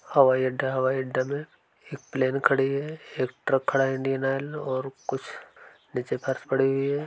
हवाई अड्डा है हवाई अड्डा में एक प्लेन खड़ी है एक ट्रक खड़ा है इंडियन आयल और कुछ नीचे फर्श पड़ी हुई है।